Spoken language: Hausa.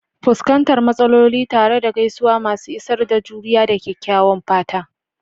Fuskantar matsaloli tare da gaisuwa masu isar da juriya da kyakkyawan fata.